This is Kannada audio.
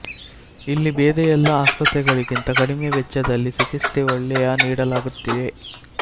ಇಲ್ಲಿ ಬೇರೆ ಎಲ್ಲಾ ಆಸ್ಪತ್ರೆಗಳಿಗಿಂತ ಕಡಿಮೆ ವೆಚ್ಚದಲ್ಲಿ ಚಿಕಿತ್ಸೆ ಒಳ್ಳೆಯ ನೀಡಲಾಗುತ್ತಿದೆ